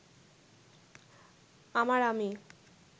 আমার আমি